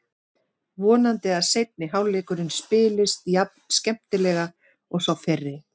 Vonandi að seinni hálfleikurinn spilist jafn skemmtilega og sá fyrri.